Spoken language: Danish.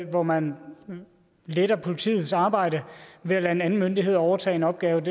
hvor man letter politiets arbejde ved at lade en anden myndighed overtage en opgave